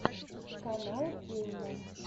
канал кейна